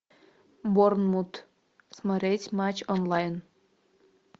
борнмут смотреть матч онлайн